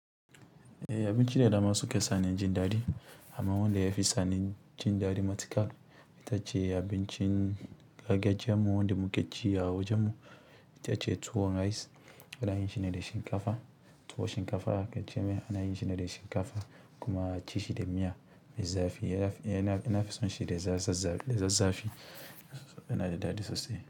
Eh, abinci da dama sukan sani jin daɗi amma wanda yafi sanin jin daɗi matuƙar ita ce abincin gargajiyar mu wanda muke ci a wajen mu. Ita ce tuwon rice ana yin shi ne da shinkafa. Tuwon shinkafa a gargajiya ana yin shi ne da shinkafa kuma aci shi da miya mai zafi. Nado son shi da zazzafi, yana da daɗi sosai.